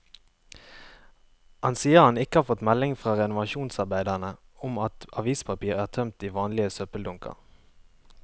Han sier han ikke har fått meldinger fra renovasjonsarbeiderne om at avispapir er tømt i vanlige søppeldunker.